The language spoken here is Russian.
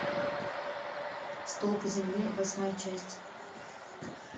столпы земли восьмая часть